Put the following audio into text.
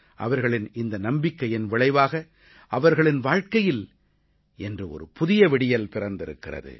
அவர்களின் இந்த நம்பிக்கையின் விளைவாக அவர்களின் வாழ்க்கையில் இன்று ஒரு புதிய விடியல் பிறந்திருக்கிறது